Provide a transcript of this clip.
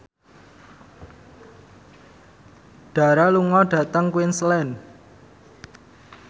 Dara lunga dhateng Queensland